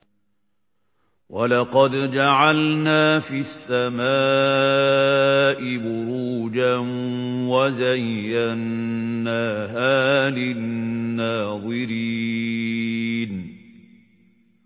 وَلَقَدْ جَعَلْنَا فِي السَّمَاءِ بُرُوجًا وَزَيَّنَّاهَا لِلنَّاظِرِينَ